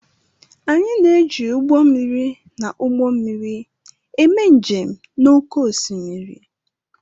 Anyị na-eji ụgbọ mmiri na ụgbọ mmiri eme njem n'oké osimiri.